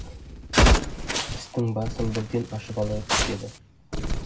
істің басын бірден ашып алайық деді